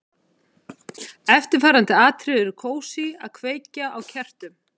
Eftirfarandi atriði eru kósí: Að kveikja á kertum.